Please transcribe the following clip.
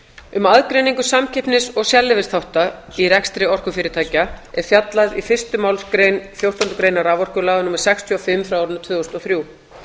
um aðgreiningu samkeppnis og sérleyfisþátta í rekstri orkufyrirtækja er fjallað í fyrstu málsgrein fjórtándu greinar raforkulaga númer sextíu og fimm tvö þúsund og þrjú